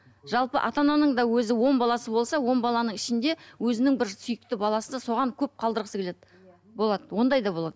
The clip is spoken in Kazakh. жалпы ата ананың да өзі он баласы болса он баланың ішінде өзінің бір сүйікті баласы соған көп қалдырғысы келеді болады ондай да болады